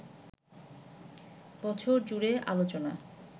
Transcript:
বছরজুড়ে আলোচনা